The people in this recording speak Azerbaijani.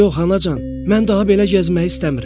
Yox, Anacan, mən daha belə gəzməyi istəmirəm.